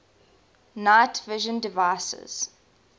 night vision devices